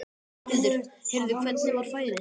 Berghildur: Heyrðu, hvernig var færið?